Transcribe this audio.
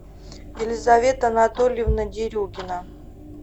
елизавета анатольевна дерюгина